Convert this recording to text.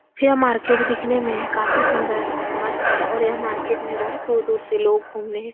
यह मार्केट दिखने में काफी सुन्दर और मस्त है और यह मार्केट में बोहोत दूर-दूर से लोग घुमने --